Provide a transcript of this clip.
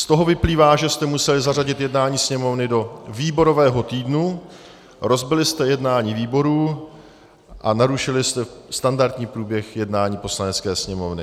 Z toho vyplývá, že jste museli zařadit jednání Sněmovny do výborového týdnu, rozbili jste jednání výborů a narušili jste standardní průběh jednání Poslanecké sněmovny.